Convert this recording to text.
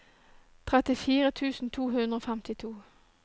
trettifire tusen to hundre og femtito